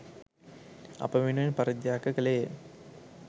අප වෙනුවෙන් පරිත්‍යාග කළේය.